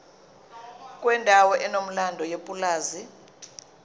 kwendawo enomlando yepulazi